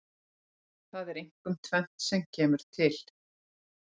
Það er einkum tvennt sem kemur til.